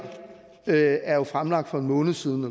er jo fremlagt for en måned siden